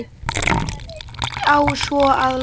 Hvenær á svo að læra?